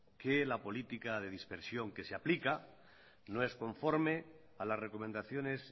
que la política de dispersión que se aplica no es conforme a las recomendaciones